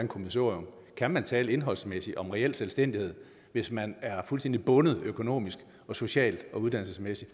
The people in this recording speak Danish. kommissorium kan man tale indholdsmæssigt om reel selvstændighed hvis man er fuldstændig bundet økonomisk socialt og uddannelsesmæssigt